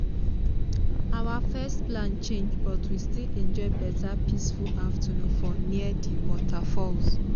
our first plan change but we still enjoy better peaceful afternoon for near di waterfalls.